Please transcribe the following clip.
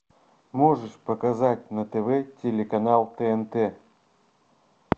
можешь показать на тв телеканал тнт